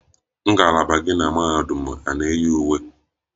Ngalaba gị na mahadum eyiri uwe?